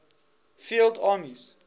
field armies